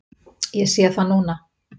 Ég sé það núna.